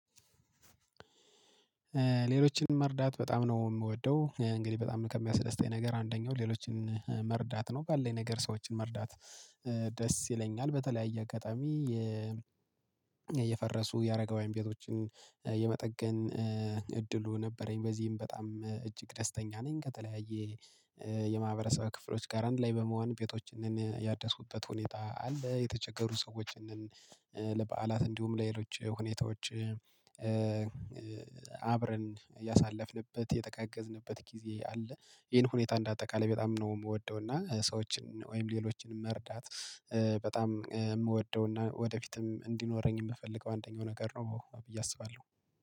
ሌሎችን መርዳት በጣም ነው የምወደው እንግዲህ በጣም ከሚያስደስተኝ ነገር አንደኛው ሌሎችን መርዳት ነው ባለኝ ነገር ሰዎችን መርዳት ደስ ይለኛል በተለያየ አጋጣሚ። የፈረሱ ያረጋውያን ቤቶችን የመጠገን እድሉ ነበረኝ በዚህም በጣም እጅግ ደስተኛ ነኝ። ከተለያየ የማህበረሰብ ክፍሎች ጋር አንድ ላይ በመሆን ቤቶችን ያደስኩበት ሁኔታ አለ። የተቸገሩ ሰዎችን ለበዓላት እንዲሁም ለሌሎች ሁኔታዎች አብረን ያሳለፍንበት የተጋገዝንበት ጊዜ አለ። ይሄን ሁኔታ እንደ አጠቃላይ በጣም ነው የምወደው እና ሰዎችን ወይም ሌሎችን መርዳት። በጣም የምወደው እና ወደፊትም እንዲኖረኝ የምፈልገው አንደኛው ነገር ነው ብዬ አስባለሁ